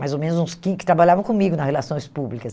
mais ou menos uns que que trabalhavam comigo nas relações públicas.